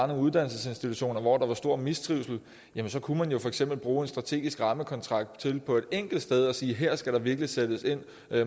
nogle uddannelsesinstitutioner hvor der er stor mistrivsel jamen så kunne man for eksempel bruge en strategisk rammekontrakt til på et enkelt sted at sige at her skal der virkelig sættes ind